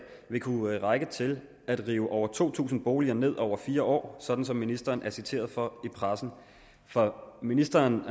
vil kunne række til at rive over to tusind boliger ned over fire år sådan som ministeren er citeret for at sige i pressen ministeren